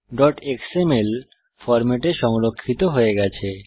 keyboardএক্সএমএল ফরম্যাটে সংরক্ষিত হয়ে গেছে